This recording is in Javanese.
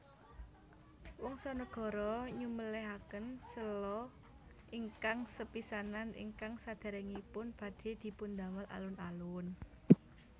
Wongsonegoro nyumèlèhaken sèla ingkang sepisanan ingkang sadèrèngipun badhé dipundamel alun alun